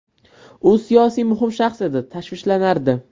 U siyosiy muhim shaxs edi va tashvishlanardi.